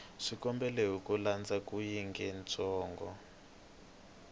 xikombelo hi ku landza xiyengentsongo